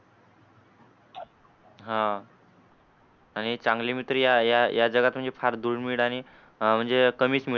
हा. आणि चांगली मैत्री या या जगात असे फार दुर्मिळ आणि म्हणजे कमीच मिळू.